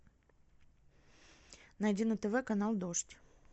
найди на тв канал дождь